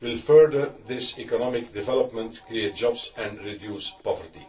will further this economic development, create jobs and reduce poverty.